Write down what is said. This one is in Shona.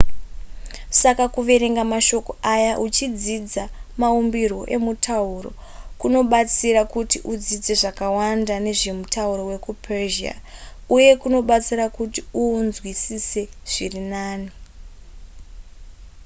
saka kuverenga mashoko aya uchidzidza maumbirwo emutauro kunobatsira kuti udzidze zvakawanda nezvemutauro wekupersia uye kunobatsira kuti uunzwisise zviri nani